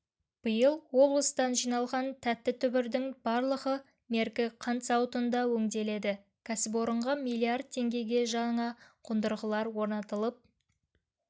биыл облыстан жиналған тәтті түбірдің барлығы меркі қант зауытында өңделеді кәсіпорынға миллиард теңгеге жаңа қондырғылар орнатылып